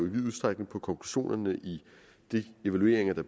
i vid udstrækning på konklusionerne i de evalueringer der